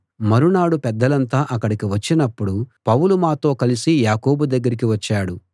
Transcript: మరునాడు పెద్దలంతా అక్కడికి వచ్చినపుడు పౌలు మాతో కలిసి యాకోబు దగ్గరికి వచ్చాడు